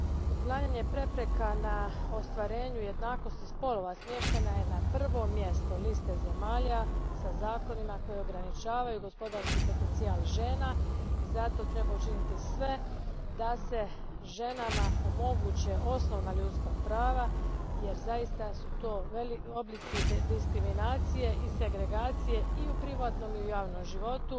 Uklanjanje prepreka na ostvarenju jednakosti spolova smještena je na prvo mjesto liste zemalja sa zakonima koji ograničavaju gospodarski potencijal žena i zato treba učiniti sve da se ženama omoguće osnovna ljudska prava, jer to su zaista oblici diskriminacije i segregacije i u privatnom i u javnom životu